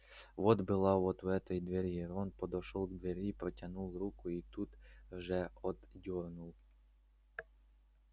вода была вот у этой двери рон подошёл к двери протянул руку и тут же отдёрнул